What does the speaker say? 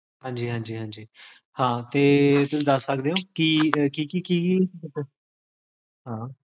ਹਾਂਜੀ ਹਾਂਜੀ ਹਾਂਜੀ, ਹਾਂ ਤੇ ਕੀ ਤੁਸੀਂ ਦਸ ਸਕਦੇ ਹੋ